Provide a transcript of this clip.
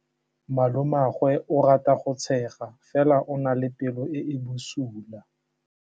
Malomagwe o rata go tshega fela o na le pelo e e bosula.